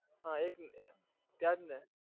હા એજ ને ત્યાંજ ને